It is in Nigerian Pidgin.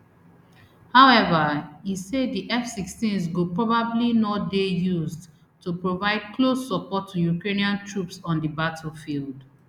however e say di fsixteens go probably no dey used to provide close support to ukrainian troops on di battlefield